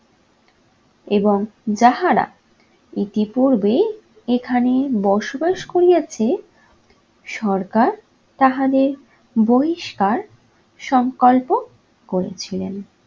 এবং যাহারা ইতিপূর্বে এখানে বসবাস করিয়াছে সরকার তাহাদের বহিষ্কার সংকল্প করেছিলেন।